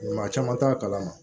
Maa caman t'a kalama